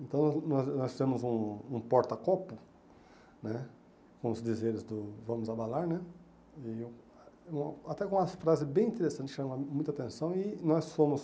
Então, nós nós fizemos um um porta-copo né com os dizeres do Vamos Abalar né, e até com umas frases bem interessantes que chamaram muita atenção, e nós fomos